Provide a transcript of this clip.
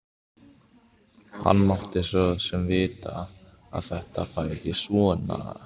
Hann mátti svo sem vita að þetta færi svona.